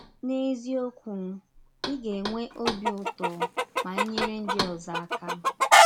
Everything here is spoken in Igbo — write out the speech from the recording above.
N’eziọkwụ, ị ga - enwe ọbi ụtọ ma i nyere ndị ọzọ aka!